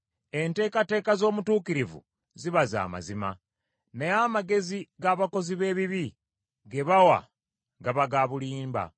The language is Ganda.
Enteekateeka z’omutuukirivu ziba za mazima, naye amagezi g’abakozi b’ebibi ge bawa gaba ga bulimba.